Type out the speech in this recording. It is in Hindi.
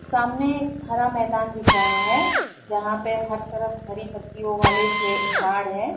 सामने हरा मैदान दिख रहा है जहाँ पे हर तरफ हरी पत्तियों वाले झे झाड़ है।